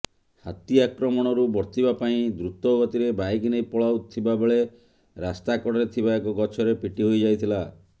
ହାତୀ ଆକ୍ରମଣରୁ ବର୍ତ୍ତିବା ପାଇଁ ଦ୍ରୁତଗତିରେ ବାଇକ୍ ନେଇ ପଳାଉଥିବାବେଳେ ରାସ୍ତାକଡରେ ଥିବା ଏକ ଗଛରେ ପିଟି ହୋଇଯାଇଥିଲେ